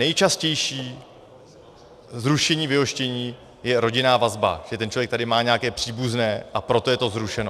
Nejčastější zrušení vyhoštění je rodinná vazba, že ten člověk tady má nějaké příbuzné, a proto je to zrušeno.